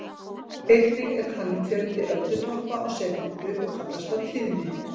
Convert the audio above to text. Einnig er talinn fjöldi öldutoppa á sekúndu og kallast það tíðni.